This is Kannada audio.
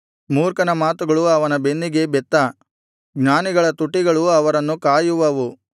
ಮೂರ್ಖನ ಮಾತುಗಳು ಅವನ ಬೆನ್ನಿಗೆ ಬೆತ್ತ ಜ್ಞಾನಿಗಳ ತುಟಿಗಳು ಅವರನ್ನು ಕಾಯುವವು